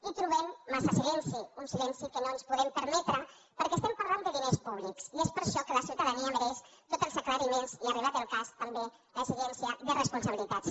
i trobem massa silenci un silenci que no ens podem permetre perquè estem parlant de diners públics i és per això que la ciutadania mereix tots els aclariments i arribat el cas també l’exigència de responsabilitats